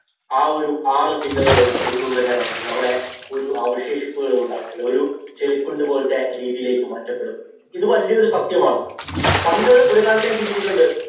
ആ ഒരു ആറു ജില്ലകള് ഒന്നും തന്നെ കാണത്തില്ല. അവിടെ ഒരു അവശേഷിപ്പുകളും ഉണ്ടാകത്തില്ല. ഒരു ചെളിക്കുണ്ട് പോലത്തെ രീതിയിലേക്ക് മാറ്റപ്പെടും. ഇത് വലിയ ഒരു സത്യമാണ്. പണ്ട് ഒരു കാലത്ത് ഞാന്‍ ചിന്തിച്ചിട്ടുണ്ട്.